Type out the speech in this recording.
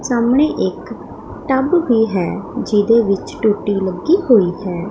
ਸਾਹਮਣੇ ਇੱਕ ਟੱਬ ਵੀ ਹੈ ਜਿਹਦੇ ਵਿੱਚ ਟੂਟੀ ਲੱਗੀ ਹੋਈ ਹੈ।